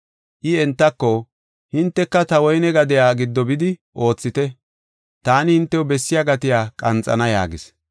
I entako, ‘Hinteka ta woyne gadee giddo bidi oothite, taani hintew bessiya gatiya qanxana’ yaagis.